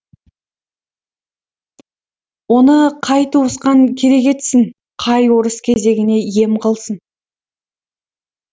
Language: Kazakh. оны қай туысқан керек етсін қай орыс кезегіне ем қылсын